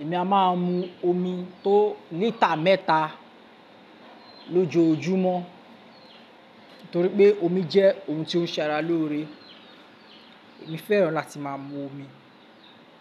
Èmi a máa mu omi tó lítà mẹ́ta lójoójúmọ́, torí pé omi jẹ́ ohun tí ó ń ṣẹ ara lóore. Èmi fẹ́ràn láti máa mu omi.